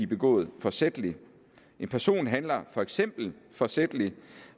begået forsætligt en person handler for eksempel forsætligt